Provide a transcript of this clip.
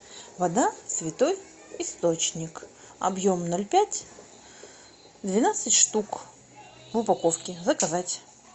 вода святой источник объем ноль пять двенадцать штук в упаковке заказать